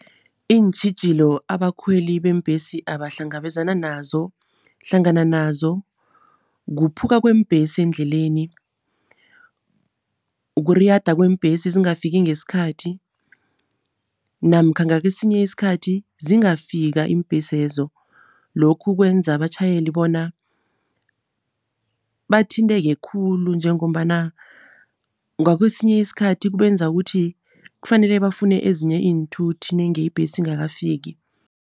Iintjhijilo abakhweli beembhesi abahlangabezana nazo hlangana nazo kuphuka kweembhesi endleleni, kuriyada kweembhesi zingafiki ngesikhathi namkha ngakesinye isikhathi zingafika iimbhesezo. Lokhu kwenza abatjhayeli bona bathinteke khulu, njengombana ngakwesinye isikhathi kubenza ukuthi kufanele bafune ezinye iinthuthi nenge ibhesi ingakafiki.